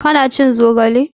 Ka na cin zogale?